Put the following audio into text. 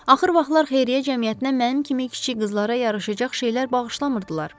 Axır vaxtlar xeyriyyə cəmiyyətinə mənim kimi kiçik qızlara yaraşacaq şeylər bağışlamırdılar.